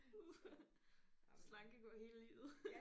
Uh slankekur hele livet